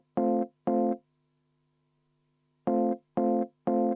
Vaheaeg kümme minutit.